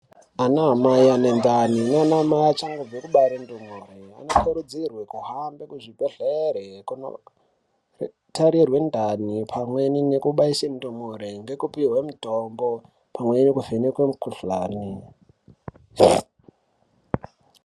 Anamai ane ndani, naanamai achangobve kubare mwana, anokurudzirwe kuhambe kuzvibhedhlere ,kunotarirwe ndani pamweni nekubaise mitombo, nekupihwe mitombo, pamweni nekuvhenekwe mikhuhlani.